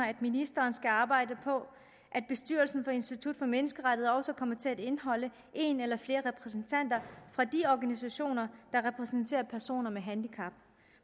at ministeren skal arbejde på at bestyrelsen for institut for menneskerettigheder også kommer til at indeholde en eller flere repræsentanter fra de organisationer der repræsenterer personer med handicap